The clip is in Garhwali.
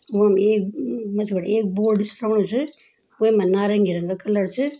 यम एक मथ्थी बटे एक बोर्ड सी लगणु च वैमा नारंगी रंगक कलर च।